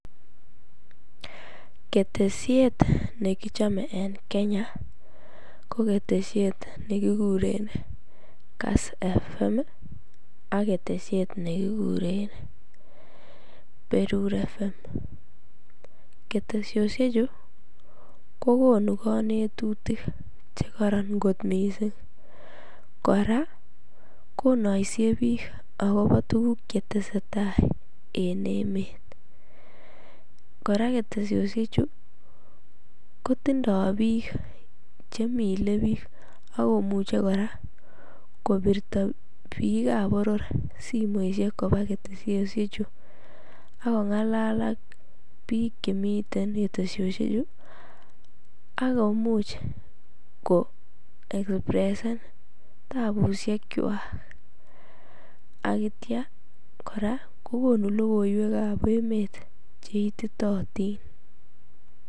Keteshet nekichome en Kenya ko keteshet nekikuren kass fm ak keteshiet nekikuren berur fm, keteshoshechu kokonu konetutik chekoron mising, kora konoisie biik akobo tukuk chetesetai en emet, koraa keteshoshechu kotindo biik chemilebik ak komuche kora kobirto biikab boror simoishek kobaa keteshoshechu ak kongalal ak biik chemiten keteshoshechu ak komuch ko represent tabushekwak akityokora kokonu lokoiwekab emet cheititootin.